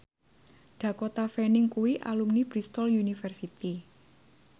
Dakota Fanning kuwi alumni Bristol university